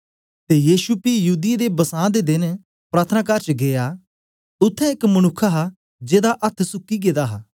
ते यीशु पी युदियें दा बसां दा देन प्रार्थनाकार च गीया उत्थें एक मनुक्ख हा जेदा अथ्थ सुक्की गेदा हा